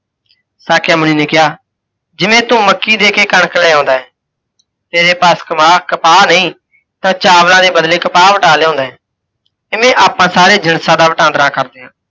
ਸਾਕਯ ਮੁੰਨੀ ਨੇ ਕਿਹਾ ਜਿਵੇਂ ਤੂੰ ਮੱਕੀ ਦੇਕੇ ਕਣਕ ਲੈ ਆਉੰਦਾ ਹੈ, ਤੇਰੇ ਪਾਸ ਕਪਾਹ ਨਹੀਂ ਤਾਂ ਚਾਵਲਾਂ ਦੇ ਬਦਲੇ ਕਪਾਹ ਵਟਾ ਲਿਆਉਣਾ ਹੈ, ਤਿਵੇਂ ਆਪਾਂ ਸਾਰੇ ਜਿਣਸਾਂ ਦਾ ਵਟਾੰਦਰਾ ਕਰਦੇ ਹਾਂ।